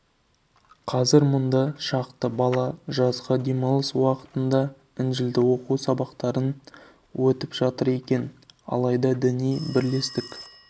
қазір мұнда шақты бала жазғы демалыс уақытында інжілді оқу сабақтарын өтіп жатыр екен алайда діни бірлестік